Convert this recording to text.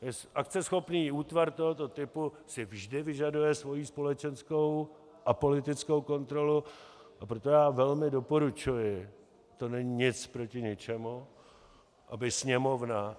Akceschopný útvar tohoto typu si vždy vyžaduje svoji společenskou a politickou kontrolu, a proto já velmi doporučuji, to není nic proti ničemu, aby Sněmovna...